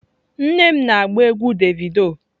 Nne m na-agba egwu Davido.